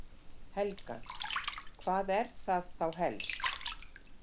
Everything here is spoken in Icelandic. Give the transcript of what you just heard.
Helga: Hvað er það þá helst?